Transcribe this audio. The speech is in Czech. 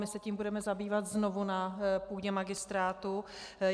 My se tím budeme zabývat znovu na půdě magistrátu.